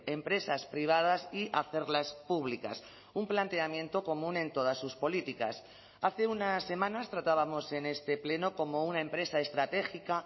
empresas privadas y hacerlas públicas un planteamiento común en todas sus políticas hace unas semanas tratábamos en este pleno cómo una empresa estratégica